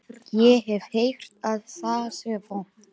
Ég hef heyrt að það sé vont